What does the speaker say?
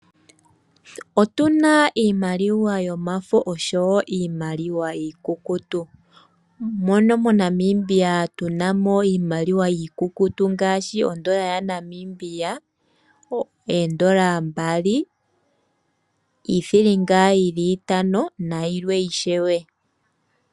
Otuna iimaliwa yomafo oshowo iimaliwa iikukutu mono mo Namibia tuna iimaliwa yiikukutu ngaashi ondola ya Namibia, oondola mbali, iithilinga yili itano nayilwe ishewe.